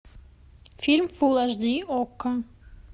фильм фулл аш ди окко